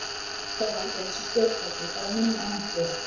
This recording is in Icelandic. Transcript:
Þetta er alveg eins stjórntæki, bara minna og hentugra.